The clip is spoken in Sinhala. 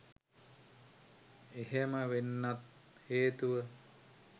එහෙම වෙන්නත් හේතුව